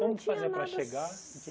Como fazer para chegar? Não tinha nada